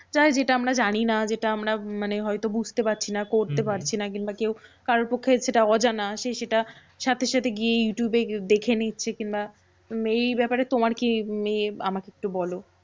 চাই যেটা আমরা জানি না, যেটা আমরা মানে হয়তো বুঝতে পারছি না, হম হম করতে পারছি না, কিংবা কেউ কারোর পক্ষে সেটা অজানা। সে সেটা সাথে সাথে গিয়ে youtube দেখে নিচ্ছে। কিংবা এই ব্যাপারে তোমার কি এ আমাকে একটু বলো?